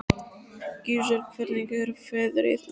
Gissur, hvernig er veðrið úti?